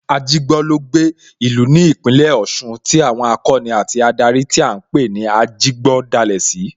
Ajigbo ló gbé, ìlú ní Ìpínlẹ̀ Ọ̀ṣun tí àwọn akọni àti adarí tí à ń pè ní Ajigbo dá sílẹ̀